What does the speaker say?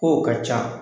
Kow ka ca